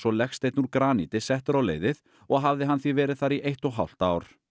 legsteinn úr graníti settur á leiðið og hafði hann því verið þar í eitt og hálft ár